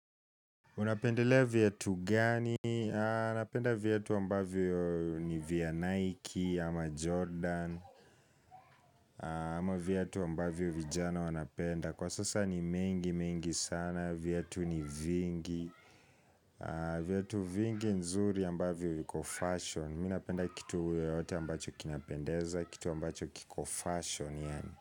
Unapendelea viatu gani? Mi napenda viatu ambavyo ni vya Nike ama Jordan ama viatu ambavyo vijana wanapenda Kwa sasa ni mengi mengi sana, viatu ni vingi viatu vingi nzuri ambavyo viko fashion Mi napenda kitu yoyote ambacho kinapendeza, kitu ambacho kiko fashion.